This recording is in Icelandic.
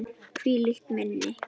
Hvílíkt minni!